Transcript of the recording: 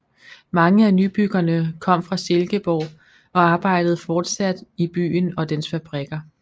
Mange af nybyggerne kom fra Silkeborg og arbejdede fortsat i byen og dens fabrikker